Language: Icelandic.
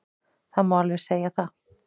Það má alveg segja það.